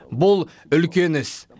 бұл үлкен іс